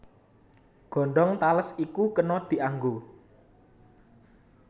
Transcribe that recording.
Godhong tales iku kena dianggo